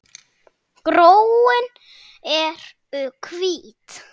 Gróin eru hvít.